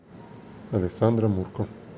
александра мурко